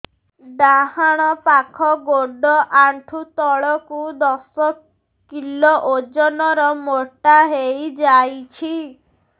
ଡାହାଣ ପାଖ ଗୋଡ଼ ଆଣ୍ଠୁ ତଳକୁ ଦଶ କିଲ ଓଜନ ର ମୋଟା ହେଇଯାଇଛି